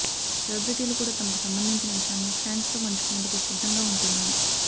సెలెబ్రిటీలు కూడా తమకు సంబంధించిన విషయాలను ఫ్యాన్స్ తో పంచుకునేందుకు సిద్ధంగా ఉంటున్నారు